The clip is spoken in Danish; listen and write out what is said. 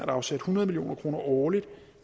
afsat hundrede million kroner årligt